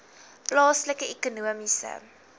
plaaslike ekonomiese